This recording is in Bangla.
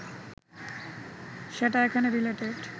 সেটা এখানে রিলেটেড